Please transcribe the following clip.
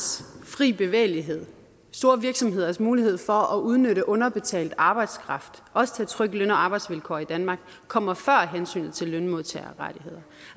fri bevægelighed og store virksomheders mulighed for at udnytte underbetalt arbejdskraft og også trykke løn og arbejdsvilkår i danmark kommer før hensynet til lønmodtagerrettigheder